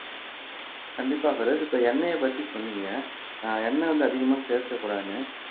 கண்டிப்பா பெரோஸ் இப்ப எண்ணெயைப் பத்தி சொன்னீங்க ஆஹ் எண்ணெய் வந்து அதிகமா சேர்க்கக்கூடாதுன்னு